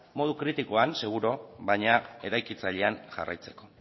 modu kritikoan seguru baina eraikitzailean jarraitzeko